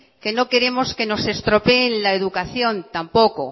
que nos queremos que nos estropeen la educación tampoco